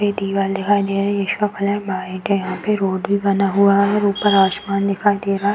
ये दिवाल दिखाई दे रही जिसका कलर व्हाइट है। यहाँ पे रोड भी बना हुआ है और ऊपर आसमान दिखाई दे रहा है।